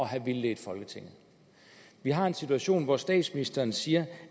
have vildledt folketinget vi har en situation hvor statsministeren siger